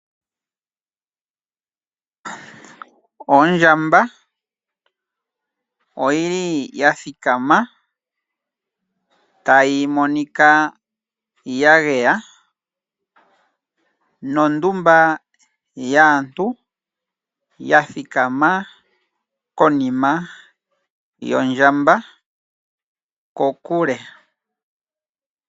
Ondjamba oyi li ya thikama tayi monika ya geya nondumba yaantu ya thikama konima yondjamba kokule.